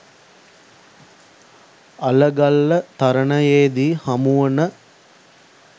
අලගල්ල තරණයේදී හමුවන